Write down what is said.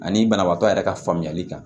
Ani banabaatɔ yɛrɛ ka faamuyali kan